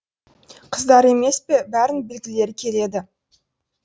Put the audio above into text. қыздар емес пе бәрін білгілері келеді